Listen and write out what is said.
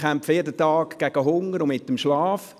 Ich kämpfe jeden Tag gegen Hunger und mit dem Schlaf.